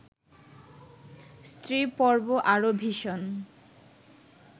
স্ত্রীপর্ব আরও ভীষণ